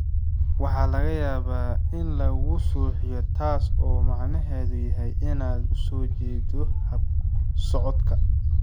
Waxaa laga yaabaa in lagugu suuxiyo, taas oo macnaheedu yahay inaad u soo jeedo habsocodka.